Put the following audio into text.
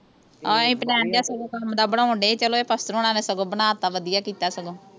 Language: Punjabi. ਆ ਅਸੀਂ ਪਲੇਨ ਜਿਹਾ ਸਗੋਂ ਕੰਮ ਦਾ ਬਣਾਉਣ ਡਏ ਸੀ ਚਲੋ ਇਹ ਪਾਸਟਰ ਹੁਣਾ ਨੇ ਸਗੋਂ ਬਣਾ ਤਾ ਵਧੀਆ ਕੀਤਾ ਸਗੋਂ